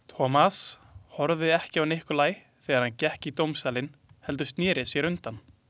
Thomas horfði ekki á Nikolaj þegar hann gekk í dómsalinn heldur sneri sér undan.